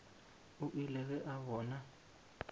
o ile ge a bona